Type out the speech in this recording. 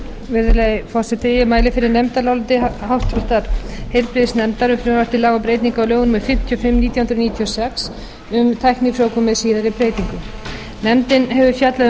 virðulegi forseti ég mæli fyrir nefndaráliti háttvirtur heilbrigðisnefndar um frumvarp til laga um breytingu á lögum númer fimmtíu og fimm nítján hundruð níutíu og sex um tæknifrjóvgun með síðari breytingum nefndin hefur fjallað